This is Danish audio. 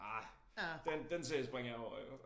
Ah den den serie springer jeg over iggå